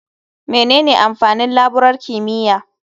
Menene amfanin laburar kimiyya?